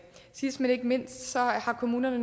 sidst men ikke mindst har kommunerne